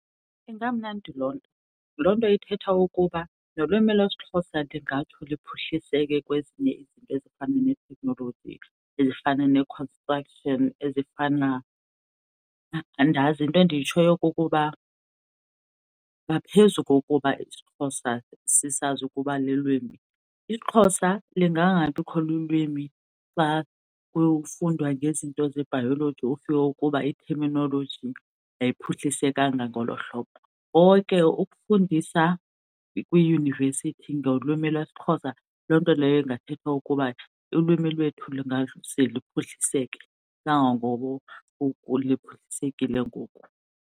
Ingamnandi loo nto. Loo nto ithetha ukuba nolwimi lesiXhosa lingatsho liphuhliseke kwezinye izinto ezifana neteknoloji, ezifana ne-construction, ezifana, andazi. Into endiyitshoyo kukuba ngaphezu kokuba isiXhosa sisazi ukuba lilwimi, isiXhosa lingangabikho lulwimi xa kufundwa ngezinto zebhayoloji ufike ukuba i-terminology ayiphuhlisekanga ngolo hlobo. Konke, ukufundisa kwiiyunivesithi ngolwimi lwesiXhosa loo nto leyo ingathetha ukuba ulwimi lwethu lungaze luphuhliseke kangangoko liphuhlisekile ngoku.